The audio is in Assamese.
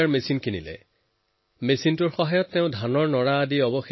এই মেচিনেৰে তেওঁ নৰাৰ গাঁথ বনোৱা আৰম্ভ কৰে